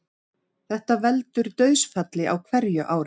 Þetta veldur dauðsfalli á hverju ári